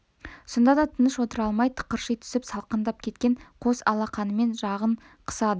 сонда да тыныш отыра алмай тықырши түсіп салқындап кеткен қос алақанымен жағын қысады